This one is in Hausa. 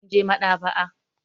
Mun je maɗ'aba'a.